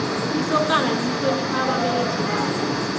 isokana lihlonipha ababelethi balo